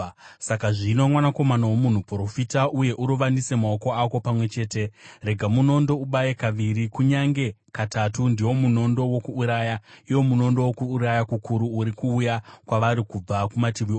“Saka zvino, mwanakomana womunhu, profita uye urovanise maoko ako pamwe chete. Rega munondo ubaye kaviri, kunyange katatu. Ndiwo munondo wokuuraya, iwo munondo wokuuraya kukuru, uri kuuya kwavari kubva kumativi ose.